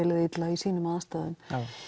liði illa í sínum aðstæðum